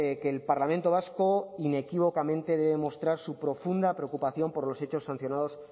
que el parlamento vasco inequívocamente debe demostrar su profunda preocupación por los hechos sancionados